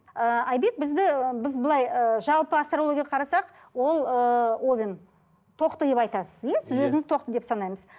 ы айбек бізді ы біз былай ыыы жалпы астрологияға қарасақ ол ыыы овен тоқты деп айтасыз иә сіз өзіңіз тоқты деп санаймыз